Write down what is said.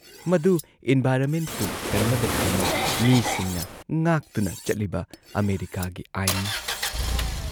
ꯃꯗꯨ ꯏꯟꯚꯥꯏꯔꯟꯃꯦꯟꯠꯄꯨ ꯀꯟꯅꯕꯒꯤꯗꯃꯛ ꯃꯤꯁꯤꯡꯅ ꯉꯥꯛꯇꯨꯅ ꯆꯠꯂꯤꯕ ꯑꯃꯦꯔꯤꯀꯥꯒꯤ ꯑꯥꯏꯟꯅꯤ ꯫